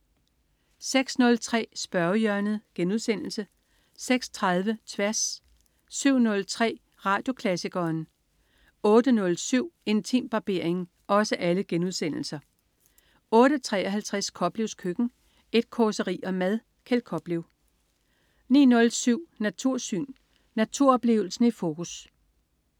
06.03 Spørgehjørnet* 06.30 Tværs* 07.03 Radioklassikeren* 08.07 Intimbarbering* 08.53 Koplevs Køkken. Et causeri om mad. Kjeld Koplev 09.07 Natursyn. Naturoplevelsen i fokus